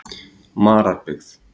Mararbyggð